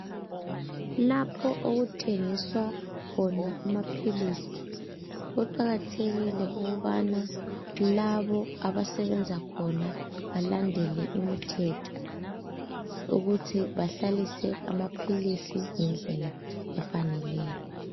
lapho okuthengiswa khona amaphilizi kuqakathekie ukubana laba abasebenza khona balandele umthetho ukuthi bahlalise amaphilisi ngendlela efaneleyo.